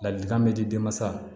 Ladilikan bɛ di denmasa ma